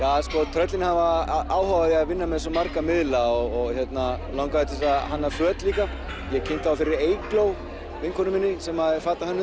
tröllin hafa áhuga á því að vinna með svo marga miðla og langaði til þess að hanna föt líka ég kynnti þá fyrir Eygló vinkonu minni sem er fatahönnuður